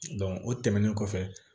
o tɛmɛnen kɔfɛ